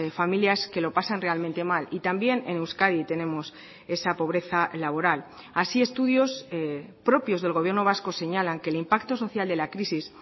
familias que lo pasan realmente mal y también en euskadi tenemos esa pobreza laboral así estudios propios del gobierno vasco señalan que el impacto social de la crisis